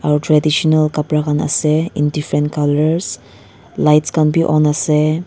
aru traditional kapra khan ase in different colours lights khan bi on ase.